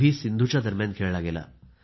सिंधूच्या दरम्यान खेळला गेला